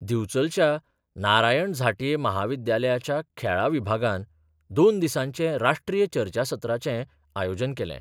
दिवचलच्या नारायण झांटये म्हाविद्यालयाच्या खेळा विभागान दोन दिसांचे राष्ट्रीय चर्चासत्राचे आयोजन केलें.